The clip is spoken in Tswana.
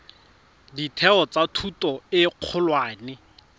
ditheo tsa thuto e kgolwane